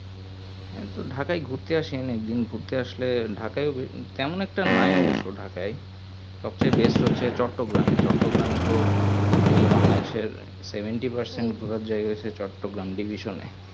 হ্যাঁ তো Dhaka এ ঘুরতে এশিয়ান একদিন ঘুরতে আসলে ঢাকা এ তেমন একটা নাই অবস্য ঢাকা এ সব চেয়ে best হচ্ছে চট্টগ্রাম এ চট্টগ্রাম তো বলতে গেলে বাংলা দেশ এর seventy percent এর ঘুরার জায়গা হচ্ছে চট্টগ্রাম division এর পেছনে